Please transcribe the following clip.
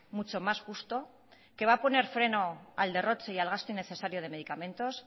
mucho más justo que va a poner freno al derroche y al gasto innecesario de medicamentos